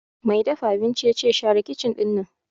Mai dafa abincin ya ce 'Share kicin ɗinnan'!